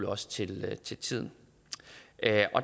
også til til tiden